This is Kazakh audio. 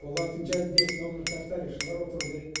олардың жанында этнографтар тарихшылар отыру керек